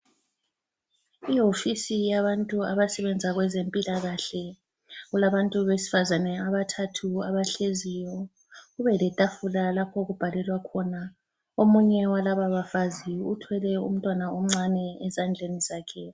Iwofisi yabantu abasebenza kwezempilakahle, kulabantu besifazane abathathu abahleziyo, kubeletafula lapho okubhalelwa khona. Omunye walaba bafazi uthwele umntwana omncane ezandleni zakhe.